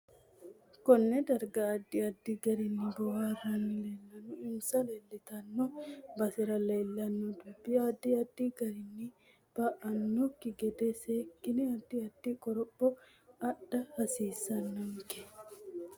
Konne darga addi addi garinni booharanni leelanno insa leeltanno basera leelanno dubbi addi addi garinni ba'anokki gede seekine addi addi qoropho adha hasiisanonke